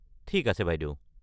ঠিক আছে বাইদেউ।